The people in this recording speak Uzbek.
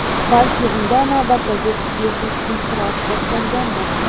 Balki unda navbatdagi psixik-inqiroz boshlangandir?